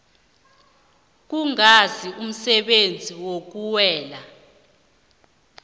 kungazi umsebenzi okuwela